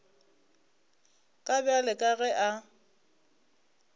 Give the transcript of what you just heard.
ka bjale ka ge a